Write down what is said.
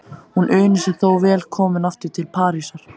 Hún unir sér þó vel komin aftur til Parísar.